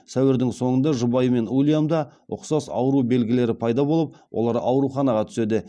сәуірдің басында жұбайы мен уильямда ұқсас ауру белгілері пайда болып олар ауруханаға түседі